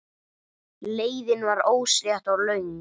Leiðin var óslétt og löng.